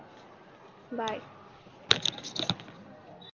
bye